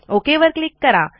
okay वर click करा